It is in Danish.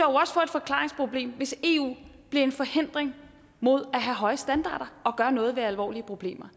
forklaringsproblem hvis eu bliver en forhindring mod at have høje standarder og gøre noget ved alvorlige problemer